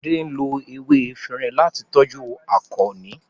Fade nlo ewé Efinrin lati toju Akonni.